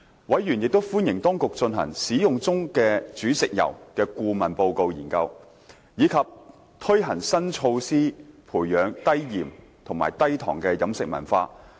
委員亦歡迎當局進行"使用中的煮食油"的顧問研究，以及推行新措施培養低鹽和低糖的飲食文化。